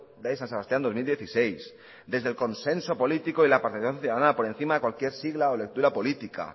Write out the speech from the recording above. de san sebastián dos mil dieciséis desde el consenso político y la participación ciudadana por encima de cualquier sigla o lectura política